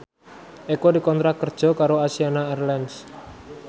Eko dikontrak kerja karo Asiana Airlines